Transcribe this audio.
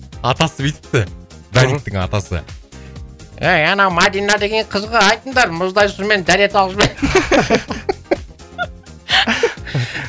атасы бүйтіпті атасы ей анау мадина деген қызға айтыңдар мұздай сумен дәрет алып